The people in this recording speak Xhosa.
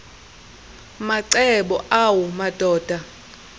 macebo awu madoda